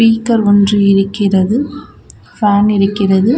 Speaker ஒன்று இருக்கிறது fan இருக்கிறது.